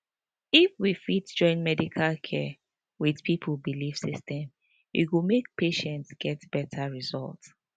if we fit join medical care with people belief system e go make patients get better result